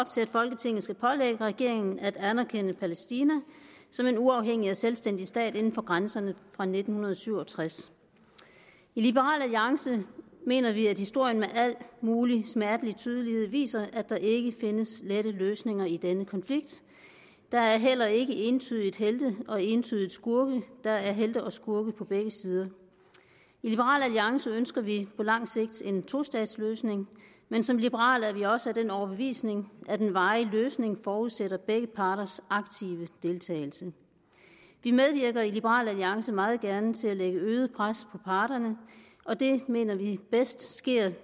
til at folketinget skal pålægge regeringen at anerkende palæstina som en uafhængig og selvstændig stat inden for grænserne fra nitten syv og tres i liberal alliance mener vi at historien med al mulig smertelig tydelighed viser at der ikke findes lette løsninger i denne konflikt der er heller ikke entydigt helte og entydigt skurke der er helte og skurke på begge sider i liberal alliance ønsker vi på lang sigt en tostatsløsning men som liberale er vi også af den overbevisning at en varig løsning forudsætter begge parters aktive deltagelse vi medvirker i liberal alliance meget gerne til at lægge øget pres på parterne og det mener vi bedst sker